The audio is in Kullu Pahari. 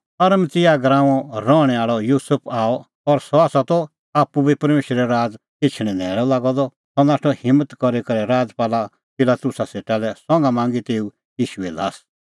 अरमतियाह गराऊंओ रहणैं आल़अ युसुफ आअ और सह त माहा सभा दी सदस्य और सह त आप्पू बी परमेशरे राज़ एछणैं न्हैल़अ लागअ द सह नाठअ हिम्मत करी करै राजपाल पिलातुसा सेटा लै संघा मांगी तेऊ ईशूए ल्हास